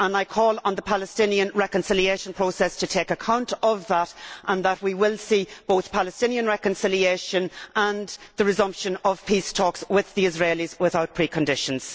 call on the Palestinian reconciliation process to take account of that and I hope that we will see both Palestinian reconciliation and the resumption of peace talks with the Israelis without preconditions.